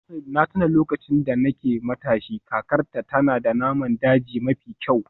Na tuna lokacin da nake matashi, kakarta tana da naman daji mafi kyau.